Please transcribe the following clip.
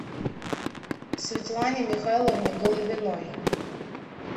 светлане михайловне головиной